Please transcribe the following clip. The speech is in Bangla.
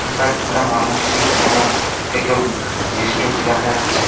একটা মানুষের মু-খ থেকে চেস্ট অবধি দেখা যাচ্ছে ।